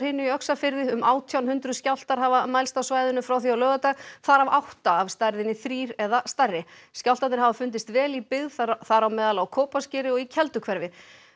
í Öxarfirði um átján hundruð skjálftar hafa mælst á svæðinu frá því á laugardag þar af átta af stærðinni þrír eða stærri skjálftarnir hafa fundist vel í byggð þar á meðal á Kópaskeri og í Kelduhverfi